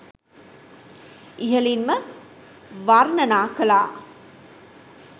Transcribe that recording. ඉහලින්ම වර්ණනා කලා